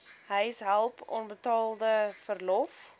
huishulp onbetaalde verlof